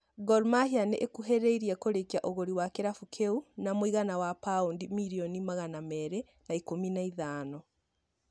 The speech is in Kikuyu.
Gor Mahia nĩ ĩkuhĩrĩirie kũrĩkia ũgũri wa kĩrabu kĩu na mũigana wa paundi mirioni magana merĩ na ikũmi na ithano.